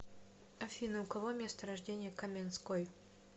афина у кого место рождения каменской